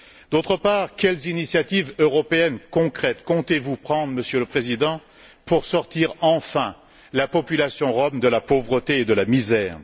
D'autre part, quelles initiatives européennes concrètes comptez vous prendre, Monsieur le Président, pour sortir enfin la population rom de la pauvreté et de la misère?